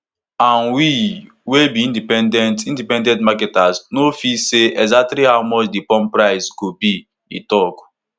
and we wey be independent independent marketers no fit say exactly how much di pump price go be e tok